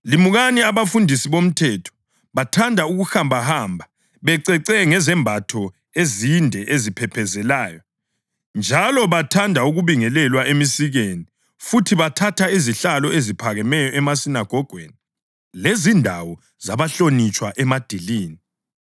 “Limukani abafundisi bomthetho. Bathanda ukuhambahamba becece ngezembatho ezinde eziphephezelayo njalo bathanda ukubingelelwa emisikeni, futhi bathatha izihlalo eziphakemeyo emasinagogweni lezindawo zabahlonitshwa emadilini.